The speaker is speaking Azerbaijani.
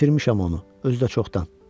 İtirmişəm onu, özü də çoxdan.